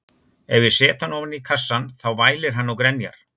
Ef ég set hann ofan í kassann þá vælir hann og grenjar.